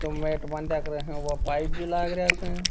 ये नेट बांधा कर वे पाइप भी लाग रहा स।